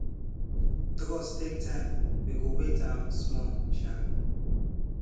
trust take time we go wait um small um